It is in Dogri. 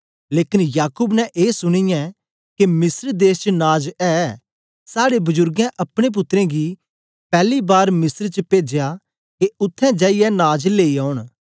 लेकन याकूब ने ए सुनीयै के मिस्र देश च नाज ऐ साड़े बजुर्गें अपने पुत्रें गी पैली बार मिस्र च पेजया के उत्थें जाईयै नाज लेई औन